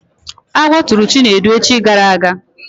Agwọ tụrụ Chinedu echi gara aga